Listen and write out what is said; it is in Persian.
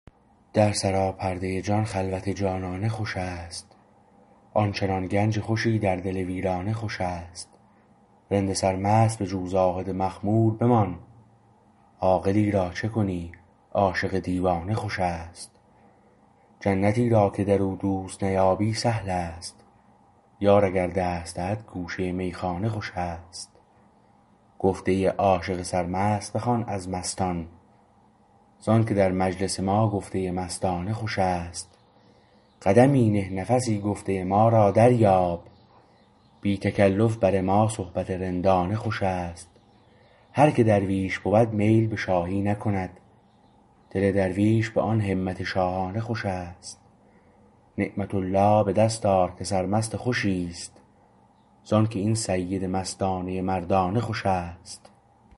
در سراپرده جان خلوت جانانه خوشست آن چنان گنج خوشی در دل ویرانه خوشست رند سرمست بجو زاهد مخمور بمان عاقلی را چه کنی عاشق دیوانه خوشست جنتی را که در او دوست نیابی سهل است یار اگر دست دهد گوشه میخانه خوشست گفته عاشق سرمست بخوان از مستان زانکه در مجلس ما گفته مستانه خوشست قدمی نه نفسی گفته ما را دریاب بی تکلف بر ما صحبت رندانه خوشست هر که درویش بود میل به شاهی نکند دل درویش به آن همت شاهانه خوشست نعمة الله به دست آر که سرمست خوشی است زانکه این سید مستانه مردانه خوشست